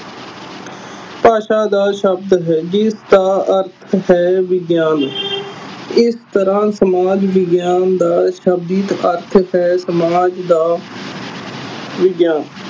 ਭਾਸ਼ਾ ਦਾ ਸ਼ਬਦ ਹੈ ਜਿਸਦਾ ਅਰਥ ਹੈ ਵਿਗਿਆਨ ਇਸ ਤਰ੍ਹਾਂ ਸਮਾਜ ਵਿਗਿਆਨ ਦਾ ਸ਼ਬਦਿਕ ਅਰਥ ਹੈ ਸਮਾਜ ਦਾ ਵਿਗਿਆਨ